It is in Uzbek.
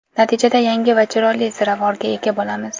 Natijada yangi va chiroyli ziravorga ega bo‘lamiz.